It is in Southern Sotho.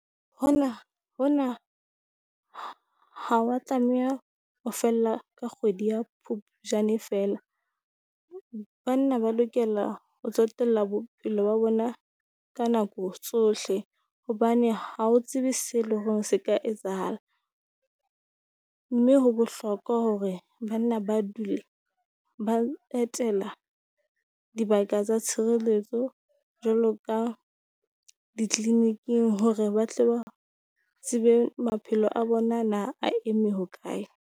Hona hona ha wa tlameha ho fella ka kgwedi ya Phupjane feela, banna ba lokela ho tsotella bopelo ba bona ka nako tsohle. Hobane ha o tsebe se le ho se ka etsahala, mme ho bohlokwa hore banna ba dule ba etela dibaka tsa tshireletso jwalo ka ditleniking hore ba tle ba tsebe maphelo a bona na a eme hokae?